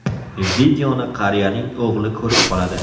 Videoni qariyaning o‘g‘li ko‘rib qoladi.